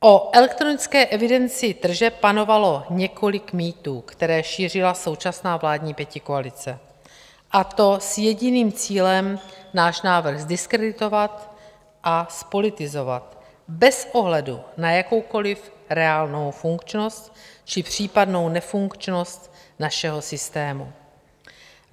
O elektronické evidenci tržeb panovalo několik mýtů, které šířila současná vládní pětikoalice, a to s jediným cílem - náš návrh zdiskreditovat a zpolitizovat bez ohledu na jakoukoliv reálnou funkčnost či případnou nefunkčnost našeho systému.